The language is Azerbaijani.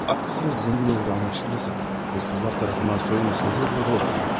Guya varlı olduğu bilinməsin, oğrular tərəfindən soyulmasın deyə burada oturur.